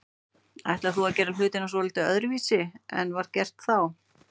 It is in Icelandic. Ætlar þú að gera hlutina svolítið öðruvísi en var gert þá?